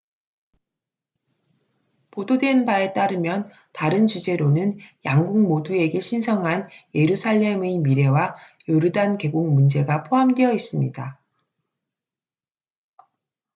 보도된 바에 따르면 다른 주제로는 양국 모두에게 신성한 예루살렘의 미래와 요르단 계곡 문제가 포함되어 있습니다